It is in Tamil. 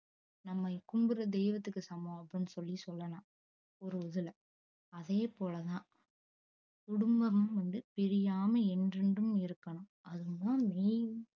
நம்ம கும்புட்ற தெய்வத்துக்கு சமம் அப்டின்னு சொல்லி சொல்லலாம் ஒரு இதுல அதே போல தான் குடும்பம் வந்து பிரியாம என்றென்றும் இருக்கணும் அது தான் main